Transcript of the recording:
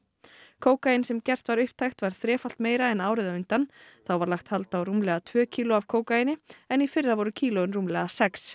kókaín sem gert var upptækt var þrefalt meira en árið á undan þá var lagt hald á rúmlega tvö kíló af kókaíni en í fyrra voru kílóin rúmlega sex